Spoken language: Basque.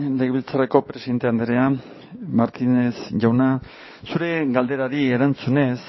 legebiltzarreko presidente andrea martínez jauna zure galderari erantzunez